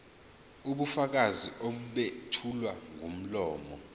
ubufakazi obethulwa ngomlomo